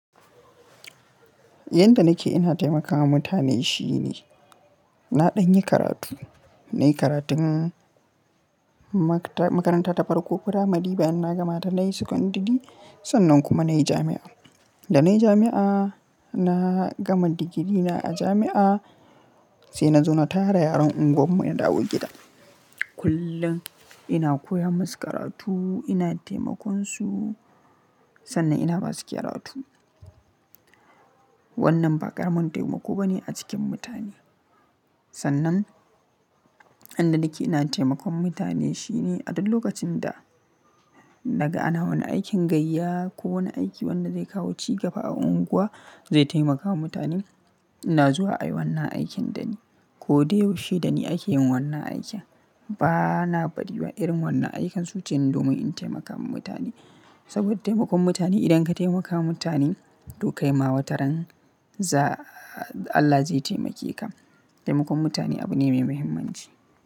Yanda nake ina taimakawa mutane shine, na ɗanyi karatu, nayi karatun makaranta ta farko primary bayan na gama ta nayi secondary sannan kuma nayi jami'a. Da nayi jami'a na gama digirina a jami'a sai na zauna tare da yaran unguwar mu na dawo gida. Kullum ina koya masu karatu, ina taimakon su sannan ina basu karatu. Wannan ba ƙaramin taimako bane a cikin mutane. Sannan, inda nake ina taimakon mutane shine a duk lokacin da naga ana wani aikin gayya ko wani aiki wanda zai kawo cigaba a unguwa zai taimakawa mutanen, in na zuwa ayi wannan aikin dani. Ko dai yaushe dani ake yin wannan aikin bana bariwa irin wannan aikan su ce ne domin in taimaka wa mutane. Saboda taimakon mutane idan ka taimaka mutane to kai ma wataran za Allah zai taimake ka. Taimakon mutane abu ne mai muhimmanci.